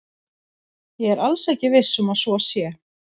Ég er alls ekki viss um að svo sé.